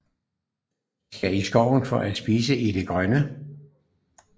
De skal i skoven for at spise i det grønne